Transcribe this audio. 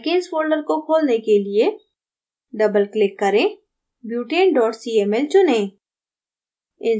alkanes folder को खोलने के लिए double click करें butane cml चुनें